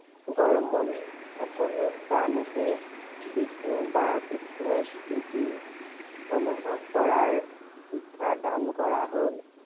গৰ্মণ সকলো প্ৰাণীতে বিষ্ণু বা কৃষ্ণৰ স্থিতি, অনুভৱ কৰাৰ শিক্ষা দান কৰা হ'ল।